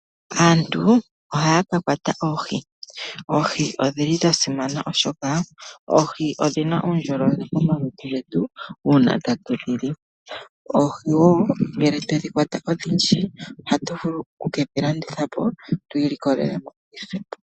Aantu ohaya ka kwata oohi. Oohi odhi li dha simana oshoka oohi odhina uundjolowele momalutu getu uuna tatu dhi li. Oohi woo ngele twe dhi kwata odhindji ohatu vulu oku ke dhi landitha po twi ilikolele iiyemo.